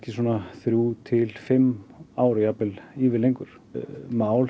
þrjú til fimm ár jafnvel ívið lengur mál